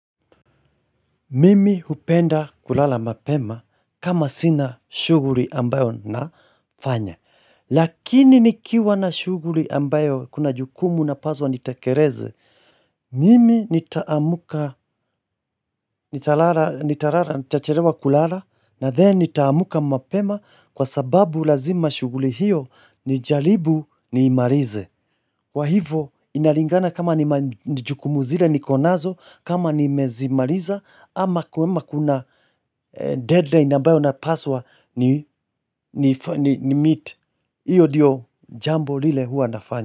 Mimi hupenda kulala mapema kama sina shughuli ambayo nafanya Lakini nikiwa na shughuli ambayo kuna jukumu napaswa nitekeleze Mimi nitaamka nitalala nitachelewa kulala na then nitaamka mapema kwa sababu lazima shughuli hiyo nijaribu niimalize Kwa hivo inalingana kama ni jukumu zile nikonazo kama nimezimaliza ama kwema kuna deadline ambayo napaswa nimeet hiyo ndiyo jambo lile huwa nafanya.